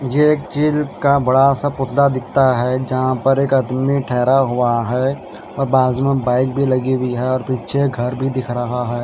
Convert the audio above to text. ये एक चील का बड़ा सा पुतला दिखता है जहां पर एक आदमी ठहरा हुआ है और बाजू में बाइक भी लगी हुई है और पीछे घर भी दिख रहा है।